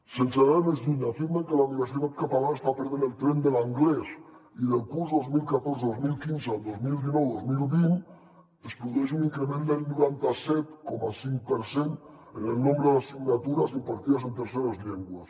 sense anar més lluny afirmen que la universitat catalana està perdent el tren de l’anglès i del curs dos mil catorze dos mil quinze al dos mil dinou dos mil vint es produeix un increment del noranta set coma cinc per cent en el nombre d’assignatures impartides en terceres llengües